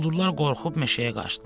Quldurlar qorxub meşəyə qaçdılar.